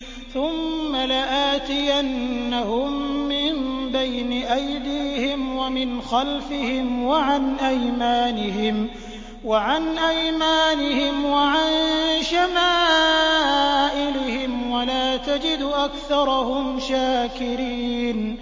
ثُمَّ لَآتِيَنَّهُم مِّن بَيْنِ أَيْدِيهِمْ وَمِنْ خَلْفِهِمْ وَعَنْ أَيْمَانِهِمْ وَعَن شَمَائِلِهِمْ ۖ وَلَا تَجِدُ أَكْثَرَهُمْ شَاكِرِينَ